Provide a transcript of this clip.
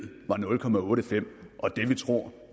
og det vi tror